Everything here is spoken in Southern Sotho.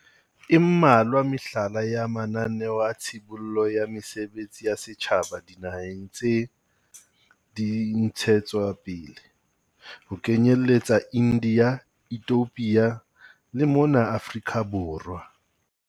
E mmalwa mehlala ya mananeo a tshibollo ya mesebetsi ya setjhaba dinaheng tse di ntshetswapele, ho kenyeletsa India, Ethiopia le mona Afrika Borwa.